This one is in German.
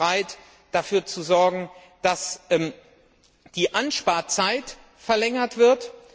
Wir waren bereit, dafür zu sorgen, dass die Ansparzeit verlängert wird.